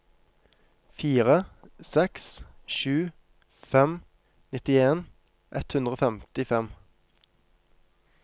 fire seks sju fem nittien ett hundre og femtifem